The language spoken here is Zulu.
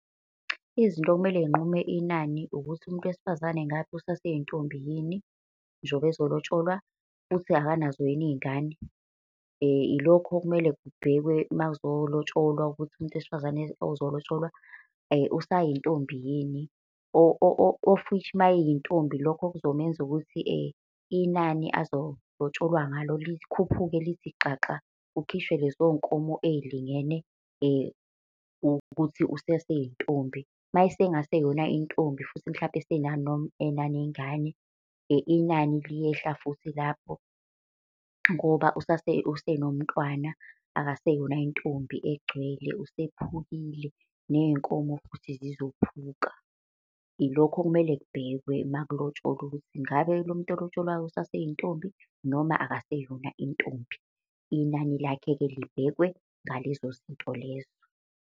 Izinto okumele yinqume inani, ukuthi umuntu wesifazane ngapha usaseyintombi yini njengoba ezolotsholwa, futhi akanazo yini iy'ngane. Ilokho okumele kubhekwe uma uzolotsholwa, ukuthi umuntu wesifazane ozolotsholwa usayintombi yini? Of which uma eyintombi lokho kuzomenza ukuthi inani azolotsholwa ngalo likhuphuke lithi xaxa, kukhishwe lezo nkomo ey'lingene ukuthi usaseyintombi. Uma esengaseyona intombi, futhi mhlampe enaney'ngane inani liyehla futhi lapho ngoba usenomntwana akuseyona intombi egcwele usephukile, neyinkomo futhi zizophuka. Ilokho okumele kubhekwe uma kulotsholwa ukuthi ngabe lo muntu olotsholwayo usaseyintombi noma akaseyona intombi. Inani lakhe-ke libhekwe ngalezo zinto lezo.